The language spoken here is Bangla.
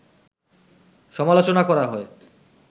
সমালোচনা করা হয়